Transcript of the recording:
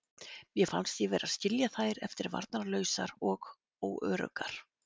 Mér fannst ég vera að skilja þær eftir varnarlausar og óöruggar.